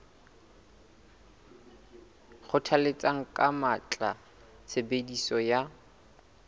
kgothalletsa ka matla tshebediso ya